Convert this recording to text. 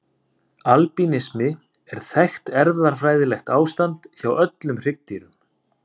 Albínismi er þekkt erfðafræðilegt ástand hjá öllum hryggdýrum.